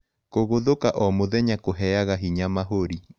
Kũgũthũka o mũthenya kũheaga hinya mahũrĩ